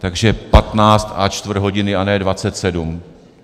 Takže patnáct a čtvrt hodiny, a ne dvacet sedm.